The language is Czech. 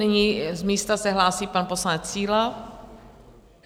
Nyní z místa se hlásí pan poslanec Síla.